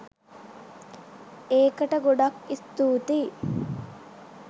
ඒකට ගොඩක් ස්තූතියි!